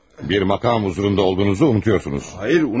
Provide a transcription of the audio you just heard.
Bir məqam hüzurunda olduğunuzu unuduyorsunuz.